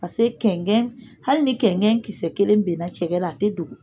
Paseke kɛnkɛn, hali ni kɛnkɛn kisɛ kelen binna cɛkɛ la , a tɛ dogo.